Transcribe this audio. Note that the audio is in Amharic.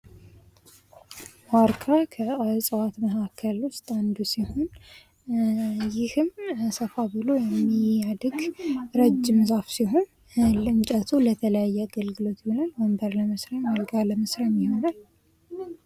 ዋርካ ከእጽዋት መካከል ውስጥ አንዱ ሲሆን ይህም ሰፋ ብሎ የሚያድግ ረጅም ዛፍ ሲሆን እንጨቱ ለተለያየ አገልግሎት ይውላል ። ወንበር ለመስሪያ ፣ አልጋም ለመስሪያ ይሆናል ።